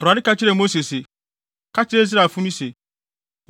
Awurade ka kyerɛɛ Mose se, “Ka kyerɛ Israelfo no se,